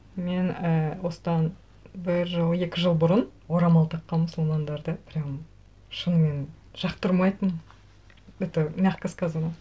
мен і осыдан бір жыл екі жыл бұрын орамал таққан мұсылмандарды прямо шынымен жақтырмайтынмын это мягко сказано